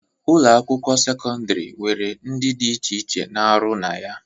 Ụlọ akwụkwọ sekọndịrị nwere ndị dị iche iche na-arụ na ya